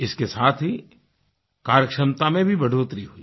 इसके साथ ही कार्यक्षमता में भी बढ़ोतरी हुई